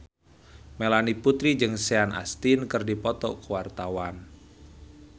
Melanie Putri jeung Sean Astin keur dipoto ku wartawan